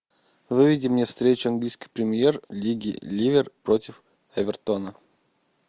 выведи мне встречу английской премьер лиги ливер против эвертона